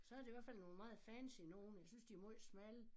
Så det i hvert fald nogle meget fancy nogle jeg synes de måj smalle